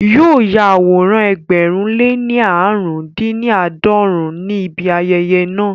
Yóò ya àwòrán ẹgbẹ̀rún lé ní aarun-din-ni-aadọrun ní ibi ayẹyẹ náà